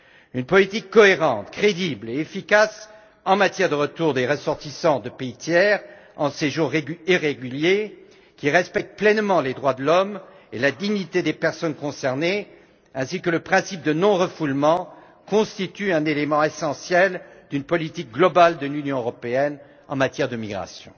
Une politique cohérente, crédible et efficace en matière de retour des ressortissants de pays tiers en séjour irrégulier, qui respecte pleinement les droits de l'homme et la dignité des personnes concernées ainsi que le principe du non refoulement, constitue un élément essentiel d'une politique globale de l'Union européenne en matière de migration.